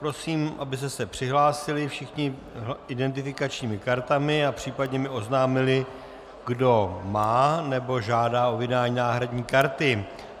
Prosím, abyste se přihlásili všichni identifikačními kartami a případně mi oznámili, kdo má nebo žádá o vydání náhradní karty.